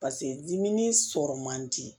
pase diminen sɔrɔ man di